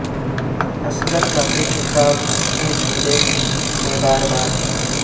اصغر کا پیچ و تاب وہ جھولے میں بار بار